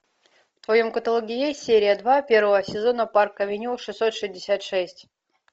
в твоем каталоге есть серия два первого сезона парк авеню шестьсот шестьдесят шесть